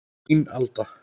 Þín, Alda.